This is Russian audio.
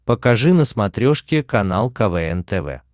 покажи на смотрешке канал квн тв